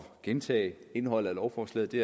gentage indholdet af lovforslaget det